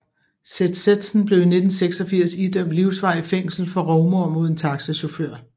Seth Sethsen blev i 1986 idømt livsvarigt fængsel for rovmord mod en taxachauffør